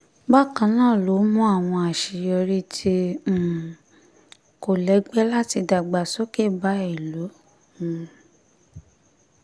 bákan náà ló mú àwọn àṣeyọrí tí um kò lẹ́gbẹ́ àti ìdàgbàsókè bá ìlú um